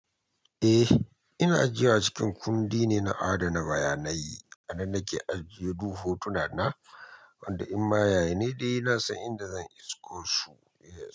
Eh, ina jiya cikin kundi ne na adana bayanai anan nake ajiye duk hotuna na, wanda in ma ya ya nai dayi ina son inda zan isko su ye.